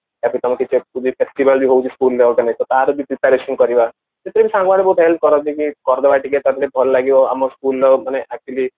ଟା ପରେ କିଛି festival ହଉଛି school ର ତାର ବି preparation କରିବା ଏଥିରେ ସାଙ୍ଗମାନେ ବହୁତ help କରନ୍ତି କି କରିଦବା ଟିକେ ତାପରେ ବହୁତ ଭଲ ଲାଗିବ କି ଆମ school ର actually